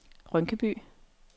Rynkeby